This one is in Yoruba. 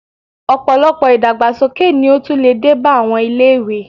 Ọ̀pọ̀lọpọ̀ ìdàgbàsókè ni ó tún lè dé bá àwọn ilé-ìwé